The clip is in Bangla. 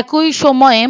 একই সময়ে